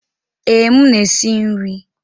Ee, m na-esi nri.